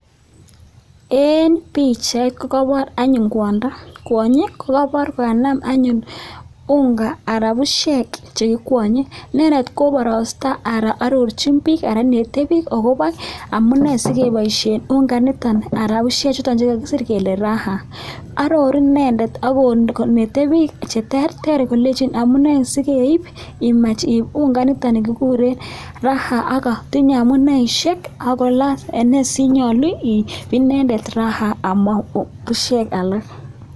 eng pichait kokaipor kwondo nename unga anan pushek chekikwanye inendet anyun koparaste akoneti piik amune sekepaishe unga nito nekikiser raha akoneti piik tukuk chekoron akopo unga nepo raha.